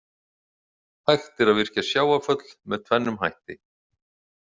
Hægt er að virkja sjávarföll með tvennum hætti.